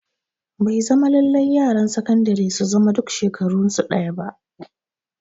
Bai zama lallai yaran sakandire su zama duk shekarun su ɗaya ba